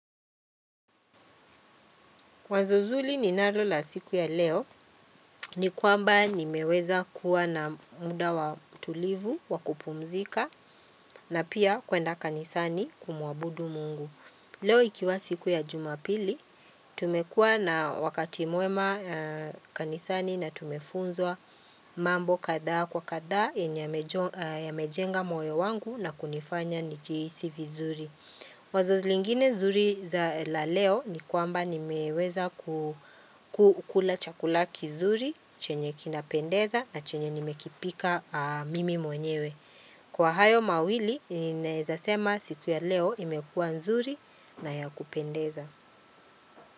Wazo zuri ninalo la siku ya leo ni kwamba nimeweza kuwa na muda wa utulivu wa kupumzika na pia kwenda kanisani kumuabudu mungu. Leo ikiwa siku ya jumapili, tumekua na wakati mwema kanisani na tumefunzwa mambo kadha kwa kadha yenye yamejenga moyo wangu na kunifanya nijihisi vizuri. Wazo lingine zuri za la leo ni kwamba nimeweza kukula chakula kizuri chenye kinapendeza na chenye nimekipika mimi mwenyewe. Kwa hayo mawili ninaezasema siku ya leo imekua nzuri na ya kupendeza.